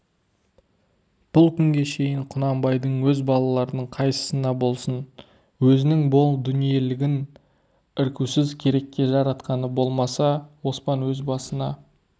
бұл күнге шейін құнанбайдың өз балаларының қайсысына болсын өзінің мол дүниелігін іркусіз керекке жаратқаны болмаса оспан өз басына